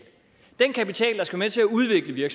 den kapital der skal være med til at udvikle